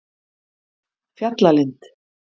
Fjallalind